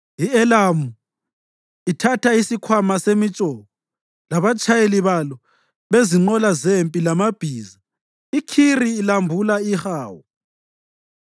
I-Elamu ithatha isikhwama semitshoko, labatshayeli balo bezinqola zempi, lamabhiza; iKhiri lambula ihawu.